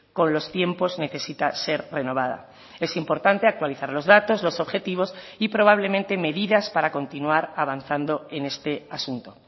con los tiempos necesita ser renovada es importante actualizar los datos los objetivos y probablemente medidas para continuar avanzando en este asunto